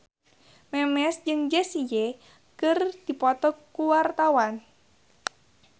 Memes jeung Jessie J keur dipoto ku wartawan